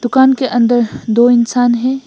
दुकान के अंदर दो इंसान हैं।